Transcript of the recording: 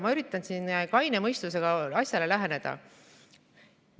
Ma üritan kaine mõistusega asjale läheneda.